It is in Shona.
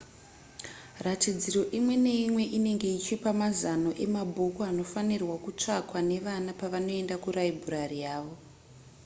ratidziro imwe neimwe inenge ichipa mazano emabhuku anofanirwa kutsvakwa nevana pavanoenda kuraibhurari yavo